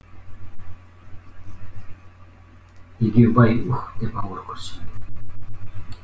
егеубай у уһ деп ауыр күрсінді